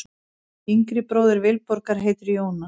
Yngri bróðir Vilborgar heitir Jónas.